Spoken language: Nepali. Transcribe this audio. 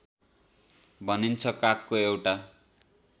भनिन्छ कागको एउटा